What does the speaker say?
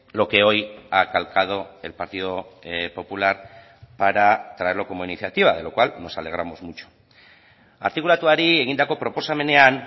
lo que hoy ha calcado el partido popular para traerlo como iniciativa de lo cual nos alegramos mucho artikulatuari egindako proposamenean